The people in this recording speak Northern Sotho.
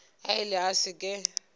a ile a se ke